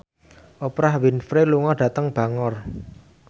Oprah Winfrey lunga dhateng Bangor